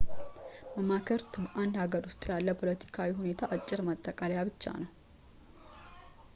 መማክርት በአንድ ሃገር ውስጥ ያለ ፖለቲካዊ ሁኔታ አጭር ማጠቃለያ ብቻ ናቸው